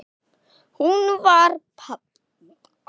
Hún var padda.